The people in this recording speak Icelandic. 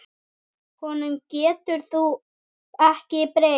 Honum getur þú ekki breytt.